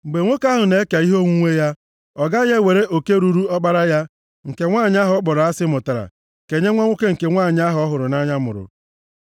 mgbe nwoke ahụ na-eke ihe onwunwe ya, ọ gaghị ewere oke ruuru ọkpara ya, nke nwanyị ahụ ọ kpọrọ asị mụtara kenye nwa nwoke nke nwanyị ahụ ọ hụrụ nʼanya mụrụ.